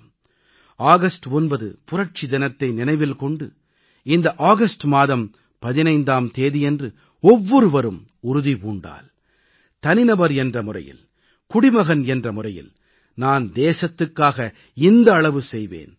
125 கோடி நாட்டு மக்களும் ஆகஸ்ட் 9 புரட்சி தினத்தை நினைவில் கொண்டு இந்த ஆகஸ்ட் மாதம் 15ஆம் தேதியன்று ஒவ்வொருவரும் உறுதி பூண்டால் தனி நபர் என்ற முறையில் குடிமகன் என்ற முறையில் நான் தேசத்துக்காக இந்த அளவு செய்வேன்